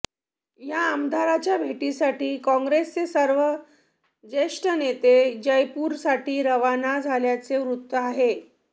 या आमदारांच्या भेटीसाठी काँग्रेसचे सर्व ज्येष्ठ नेते जयपूरसाठी रवाना झाल्याचे वृत्त आहे